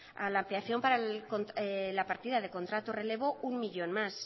a la ampliación para la partida del contrato relevo uno millón más